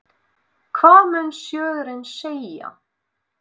Hvað mun sjóðurinn segja?